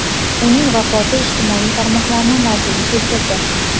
uning vafoti ijtimoiy tarmoqlarni larzaga keltirdi.